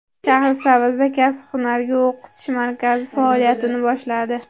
Shahrisabzda Kasb-hunarga o‘qitish markazi faoliyatini boshladi.